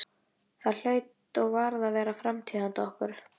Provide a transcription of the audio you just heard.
Það hlaut og varð að vera framtíð handa okkur.